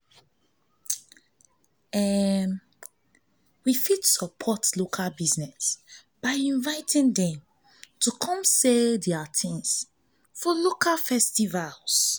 we fit support local business by inviting dem to come sell their things for local festivals